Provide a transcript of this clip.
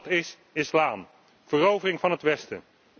Dat is islam verovering van het Westen.